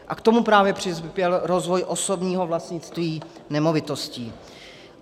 A k tomu právě přispěl rozvoj osobního vlastnictví nemovitostí.